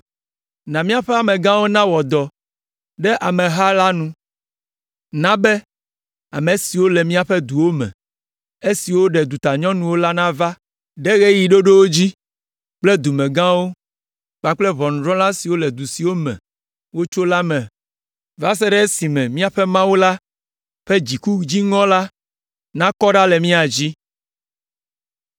Na be míaƒe amegãwo nawɔ dɔ ɖe ameha la nu, na be, ame siwo le míaƒe duwo me, esiwo ɖe dutanyɔnuwo la nava ɖe ɣeyiɣi ɖoɖiwo dzi kple dumegãwo kpakple ʋɔnudrɔ̃la siwo le du siwo me wotso la me va se ɖe esime míaƒe Mawu la ƒe dziku dziŋɔ la nakɔ ɖa le mía dzi.”